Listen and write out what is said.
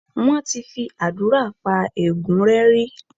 Wọ́n ti fi àdúrà pa ègún rẹ́ rí.